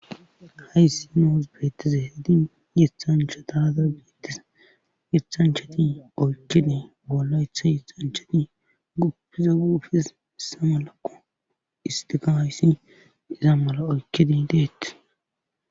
Hayssi noos beettise hidi yithanchataaza beettise yithanchati oykide bolla ytha yixanchati guppiza guufis issa malako istigaayissi isa mala oykidi deetti